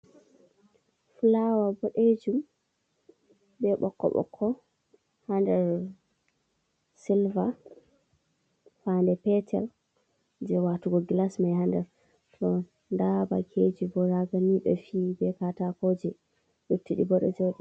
Flawa bodejum be bokko bokko hader silver, fande petel je watugo glas mai hander to dabakeji bo raganide fi be katako je yottidi bo dedo jodi.